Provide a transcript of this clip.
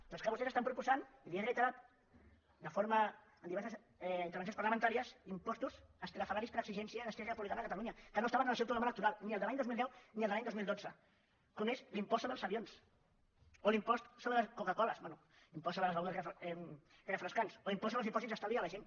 però és que vostès proposen i li ho he reiterat en diverses intervencions parlamentàries impostos estrafolaris per exigència d’esquerra republicana de catalunya que no estaven en el seu programa electoral ni al de l’any dos mil deu ni al de l’any dos mil dotze com és l’impost sobre els avions o l’impost sobre la coca cola bé impost sobre les begudes refrescants o l’impost sobre els dipòsits d’estalvi de la gent